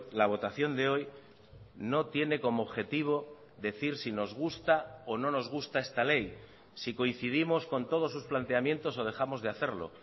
la votación de hoy no tiene como objetivo decir si nos gusta o no nos gusta esta ley si coincidimos con todos sus planteamientos o dejamos de hacerlo